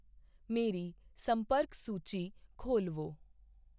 ਮੇਰੀ ਸੰਪਰਕ ਸੂੂਚੀ ਖੋਲਵੋ।